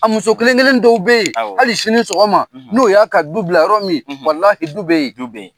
A muso kelen kelen dɔw bɛ yen hali sini sɔgɔma, n'o y'a ka du bila yɔrɔ min du bɛ yen, du bɛ yen.